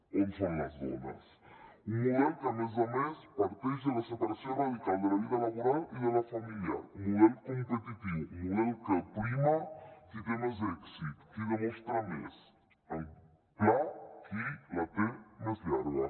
on són les dones un model que a més a més parteix de la separació radical de la vida laboral i de la familiar model competitiu model que prima qui té més èxit qui demostra més en pla qui la té més llarga